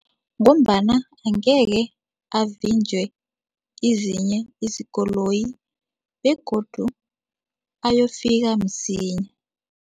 Ngombana angeke avinjwe izinye izikoloyi begodu ayofika msinya.